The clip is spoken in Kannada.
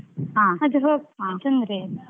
ಅದು ತೊಂದ್ರೆ ಇಲ್ಲ.